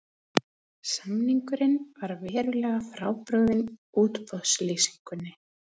Samningurinn var verulega frábrugðinn útboðslýsingunni